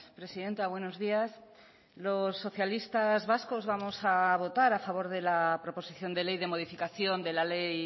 presidenta buenos días los socialistas vascos vamos a votar a favor de la proposición de ley de modificación de la ley